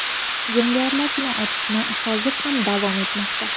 Jangarilar bilan otishma hozir ham davom etmoqda.